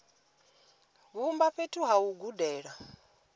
vhumba fhethu ha u gudela